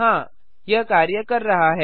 हाँ यह कार्य कर रहा है